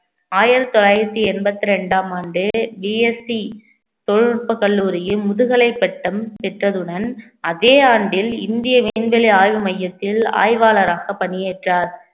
ஆயிரத்தி தொள்ளாயிரத்தி எண்பத்தி இரண்டாம் ஆண்டு VST தொழில்நுட்ப கல்லூரியின் முதுகலை பட்டம் பெற்றதுடன் அதே ஆண்டில் இந்திய விண்வெளி ஆய்வு மையத்தில் ஆய்வாளராக பணியேற்றார்